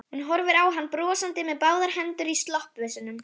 Hún horfir á hann brosandi með báðar hendur í sloppvösunum.